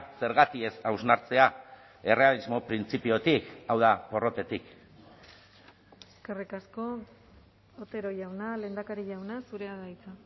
zergatik ez hausnartzea errealismo printzipiotik hau da porrotetik eskerrik asko otero jauna lehendakari jauna zurea da hitza